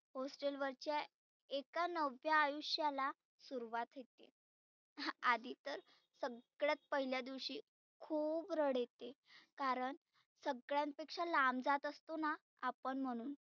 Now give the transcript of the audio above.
hostel वरच्या एका नव्या आयुष्याला सुरुवात होते. हा आदी तर सगळ्यात पहिल्या दिवशी खुप रड येते कारण सगळ्यांपेक्षा लांब जात असतोना आपण म्हणुन